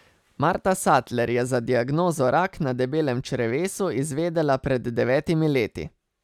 Marta Satler je za diagnozo rak na debelem črevesu izvedela pred devetimi leti.